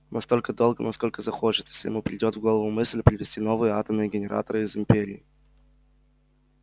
настолько долго насколько захочет если ему придёт в голову мысль привезти новые атомные генераторы из империи